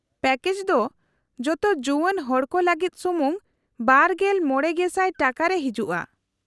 -Package ᱫᱚ ᱡᱚᱛᱚ ᱡᱩᱣᱟᱹᱱ ᱦᱚᱲᱠᱚ ᱞᱟᱹᱜᱤᱫ ᱥᱩᱢᱩᱝ ᱒᱕,᱐᱐᱐/ᱼ ᱴᱟᱠᱟ ᱨᱮ ᱦᱤᱡᱩᱜᱼᱟ ᱾